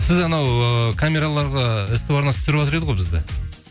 сіз анау ыыы камераларды ств арнасы түсіріватыр еді ғой бізді